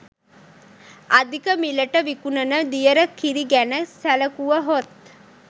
අධික මිලට විකුණන දියර කිරි ගැන සැලකුවහොත්